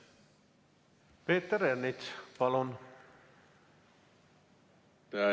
Peeter Ernits, palun!